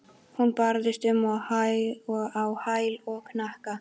Hún barðist um á hæl og hnakka.